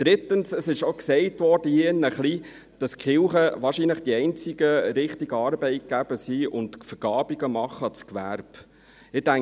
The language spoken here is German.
Drittens wurde hier drin gesagt, dass die Kirchen wahrscheinlich die einzigen richtigen Arbeitgeber seien und Zahlungen an das Gewerbe leisten würden.